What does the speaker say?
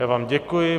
Já vám děkuji.